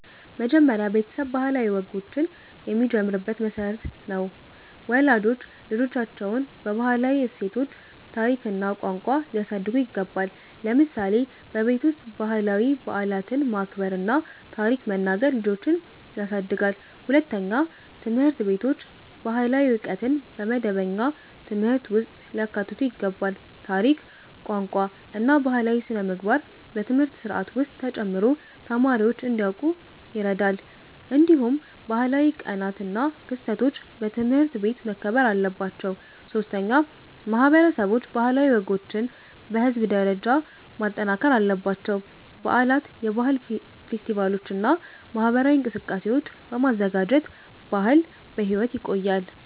መጀመሪያ ቤተሰብ ባህላዊ ወጎችን የሚጀምርበት መሠረት ነው። ወላጆች ልጆቻቸውን በባህላዊ እሴቶች፣ ታሪክ እና ቋንቋ ሊያሳድጉ ይገባል። ለምሳሌ በቤት ውስጥ ባህላዊ በዓላትን ማክበር እና ታሪክ መናገር ልጆችን ያሳድጋል። ሁለተኛ፣ ትምህርት ቤቶች ባህላዊ ዕውቀትን በመደበኛ ትምህርት ውስጥ ሊያካትቱ ይገባል። ታሪክ፣ ቋንቋ እና ባህላዊ ሥነ-ምግባር በትምህርት ስርዓት ውስጥ ተጨምሮ ተማሪዎች እንዲያውቁ ይረዳል። እንዲሁም ባህላዊ ቀናት እና ክስተቶች በትምህርት ቤት መከበር አለባቸው። ሶስተኛ፣ ማህበረሰቦች ባህላዊ ወጎችን በህዝብ ደረጃ ማጠናከር አለባቸው። በዓላት፣ የባህል ፌስቲቫሎች እና ማህበራዊ እንቅስቃሴዎች በማዘጋጀት ባህል በሕይወት ይቆያል።